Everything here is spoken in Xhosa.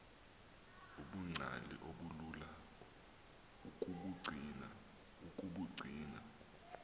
ubungcali obulula ukubugcina